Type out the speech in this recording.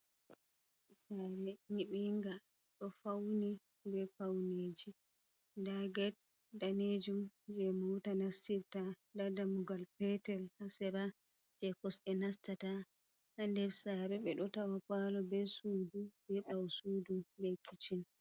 Saare nyiɓinga ɗo fauni be pauneji. Ndaa get daneejum jei mota nastirta, ndaa damugal petel haa sera jei kosɗe nastata. Haa nder saare ɓe ɗo tawa palo be sudu, be ɓaw sudu be kicin.